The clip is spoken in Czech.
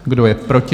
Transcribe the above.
Kdo je proti?